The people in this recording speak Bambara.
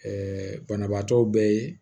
banabaatɔ bɛɛ ye